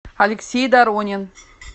алексей доронин